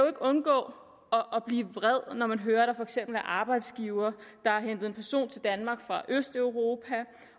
undgå at blive vred når man hører at der for eksempel er arbejdsgivere der har hentet en person til danmark fra østeuropa